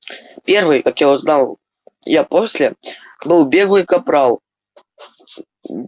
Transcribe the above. первый как я узнал я после был беглый капрал